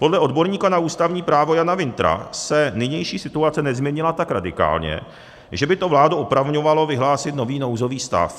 Podle odborníka na ústavní právo Jana Wintra se nynější situace nezměnila tak radikálně, že by to vládu opravňovalo vyhlásit nový nouzový stav.